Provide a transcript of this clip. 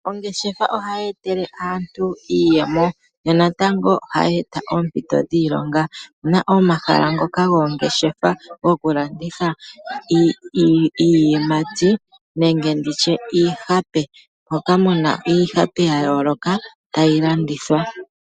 Ongeshefa ohayi etele aantu iiyemo, yo natango ohayi eta oompito dhiilonga. Na omahala ngoka goongeshefa goku landitha iiyimati nenge nditye iihape. Moka muna iihape ya yooloka tayi landithwa.